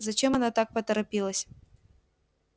зачем она так поторопилась